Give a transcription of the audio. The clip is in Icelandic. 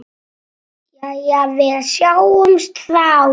Jæja, við sjáumst þá.